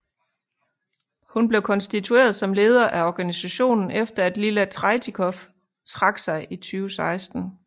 Hun blev konstitueret som leder af organisationen efter at Lila Tretikov trak sig i 2016